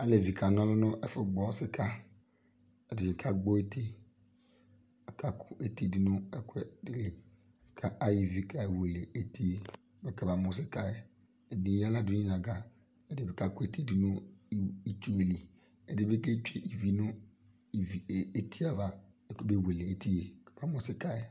Alevi kanɔlʋ nʋ ɛfʋ gbɔ sika Ɛdini ka gbɔ eti, aka kʋ eti dʋ nʋ ɛkʋɛdi li, ka ayɔ ivi kewele eti yɛ mɛ k'ama mʋ sika yɛ, Ɛdi ey'aɣla dʋ n'inaga, ɛdi bi kakʋ eti dʋ nʋ itsu yɛ li, ɛdi bi ketsue ivi nʋ ivi e e eti yɛ ava mɛ kamewele eti yɛ mɛ kamamʋ sika yɛ